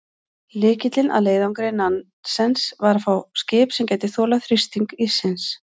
Lykillinn að leiðangri Nansens var að fá skip sem gæti þolað þrýsting íssins.